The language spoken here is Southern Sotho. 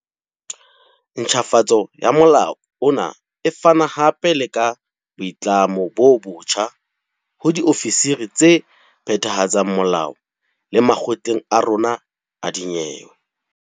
Ntjhafatso ya molao ona e fana hape le ka boitlamo bo botjha ho diofisiri tse phethahatsang molao le makgotleng a rona a dinyewe.